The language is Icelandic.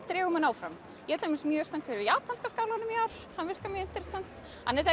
dregur mann áfram ég dæmis mjög spennt fyrir japanska skálanum í ár hann virkar mjög interessant